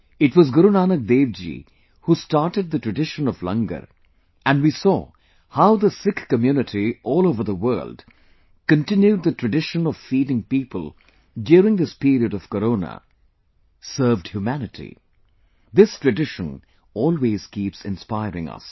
it was Guru Nanak Dev ji who started the tradition of Langar and we saw how the Sikh community all over the world continued the tradition of feeding people during this period of Corona , served humanity this tradition always keeps inspiring us